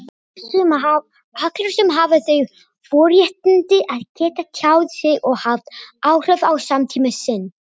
allir sem hafa þau forréttindi að geta tjáð sig og haft áhrif á samtíma sinn.